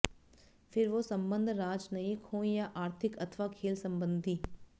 फिर वो संबंध राजनयिक हों या आर्थिक अथवा खेल संबंधी